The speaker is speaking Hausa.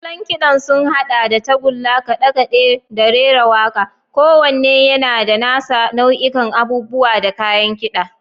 Salon kiɗan sun haɗa da tagulla, kaɗe-kaɗe, da rera waƙa, kowanne yana da nasa nau'ikan abubuwa da kayan kida.